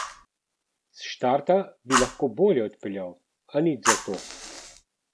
S štarta bi lahko bolje odpeljal, a nič zato!